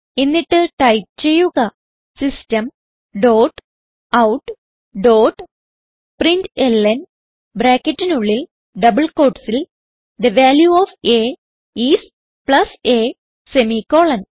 എന്നിട്ട് ടൈപ്പ് ചെയ്യുക system dot out dot println ബ്രാക്കറ്റിനുള്ളിൽ ഡബിൾ quotesൽ the value of a is plus a semicolon